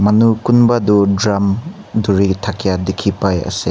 manu kunba tu drum dhori thakia dikhi pai ase.